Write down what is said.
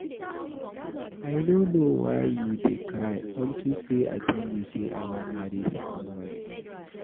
I no know why you dey cry unto say I tell you say I wan marry second wife.